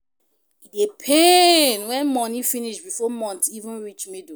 E dey pain when money finish bifor month even reach middle